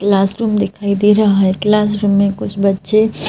classroom दिखाई दे रहा है क्लासरूम में कुछ बच्चे--